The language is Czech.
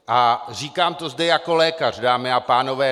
A říkám to zde jako lékař, dámy a pánové.